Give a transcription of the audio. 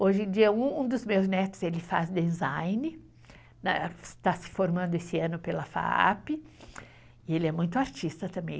Hoje em dia, um dos meus netos faz design, está se formando esse ano pela FAAP, e ele é muito artista também.